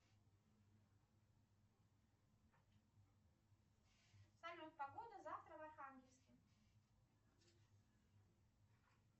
салют погода завтра в архангельске